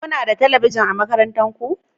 Kuna da talabijin a makarantar ku?